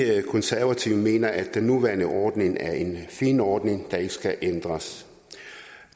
konservative mener at den nuværende ordning er en fin ordning der ikke skal ændres